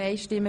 Enthalten